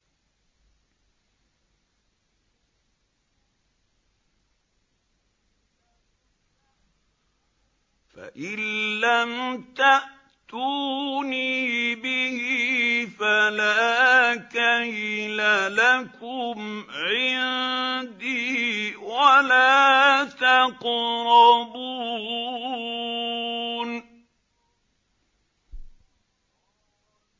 فَإِن لَّمْ تَأْتُونِي بِهِ فَلَا كَيْلَ لَكُمْ عِندِي وَلَا تَقْرَبُونِ